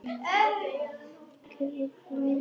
Hann gæti komið